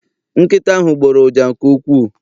Nkịta ahụ gboro ụja nke ukwuu.